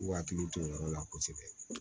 K'u hakili to o yɔrɔ la kosɛbɛ